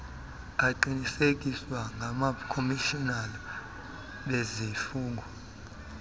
aqinisekiswe ngabakhomishinala bezifungo